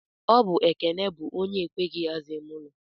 Ọbụ Ekene bụ onye ekweghị aza ime ụlọ.